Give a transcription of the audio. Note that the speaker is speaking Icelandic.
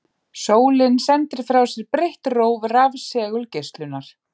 Sólin sendir frá sér breitt róf rafsegulgeislunar.